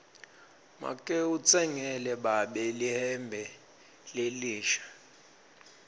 make utsengele babe lihembe lelisha